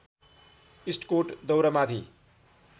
इस्टकोट दौरामाथि